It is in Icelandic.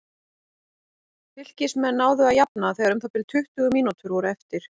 Fylkismenn náðu að jafna þegar um það bil tuttugu mínútur voru eftir.